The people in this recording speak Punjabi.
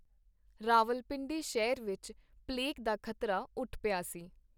ਰਾਵਲਪਿੰਡੀ ਸ਼ਹਿਰ ਵਿਚ ਪਲੇਗ ਦਾ ਖਤਰਾ ਉੱਠ ਪਿਆ ਸੀ.